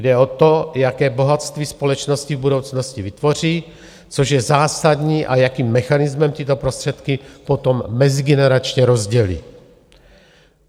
Jde o to, jaké bohatství společnost v budoucnosti vytvoří, což je zásadní, a jakým mechanismem tyto prostředky potom mezigeneračně rozdělí.